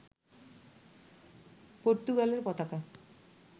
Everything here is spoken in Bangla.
পর্তুগালের পতাকা